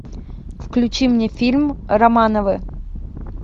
включи мне фильм романовы